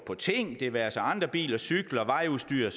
på ting det være sig andre biler cykler vejudstyr